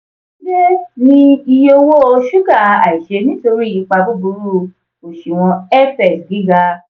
dide ni iye owo suga aise nitori ipa buburu oṣuwọn fx giga.